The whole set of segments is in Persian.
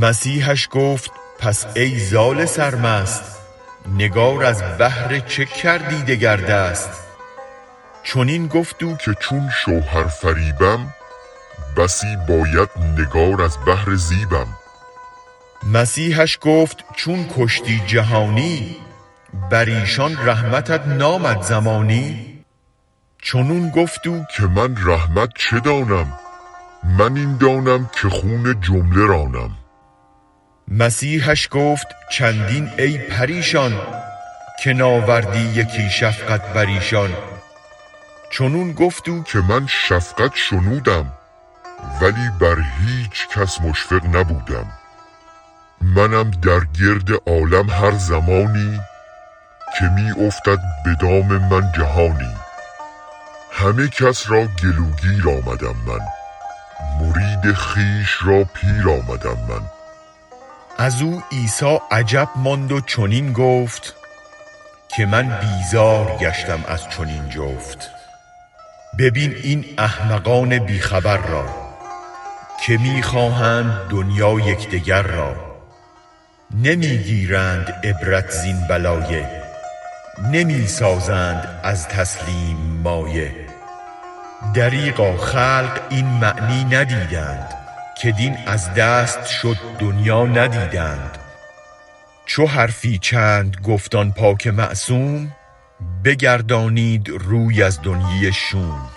مسیحش گفت پس ای زال سرمست نگار از بهر چه کردی تو بر دست چنین گفت او که چون شوهر فریبم بسی باید نگار از بهر زیبم مسیحش گفت چون کشتی جهانی بر ایشان رحمتت نامد زمانی چنین گفت او که من رحمت چه دانم من این دانم که خون جمله رانم مسیحش گفت چندان ای پریشان که ناری اندکی شفقت بر ایشان چنین گفت او که من شفقت شنودم ولی بر هیچکس مشفق نبودم منم در گرد عالم هر زمانی که می افتد بدام من جهانی همه کس را گلوگیر آمدم من مرید خویش را پیر آمدم من ازو عیسی عجب ماند و چنین گفت که من بیزار گشتم از چنین جفت ببین این احمقان بیخبر را که می خواهند دنیا یکدگر را نمی گیرند عبرت زین بلایه نمی سازند از تسلیم مایه دریغا خلق این معنی ندیدند که دین از دست شد دنیا ندیدند چو حرفی چند گفت آن پاک معصوم بگردانید روی از دنیی شوم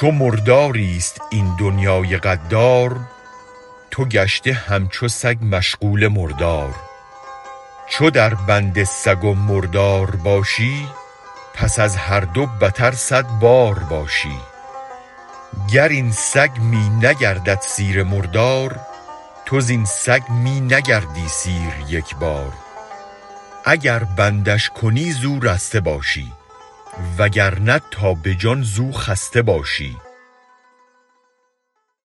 چو مرداریست این دنیای غدار تو چون سگ گشته مشغول مردار چو در بند سگ و مردار باشی پس از هر دو بتر صد بار باشی گر این سگ می نگردد سیر مردار تو زین سگ می نگردی سیر یکبار اگر بندش کنی زو رسته باشی وگرنه روز و شب زو خسته باشی